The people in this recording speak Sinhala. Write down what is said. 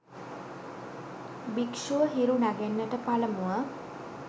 භික්‍ෂුව හිරු නැඟෙන්නට පළමුව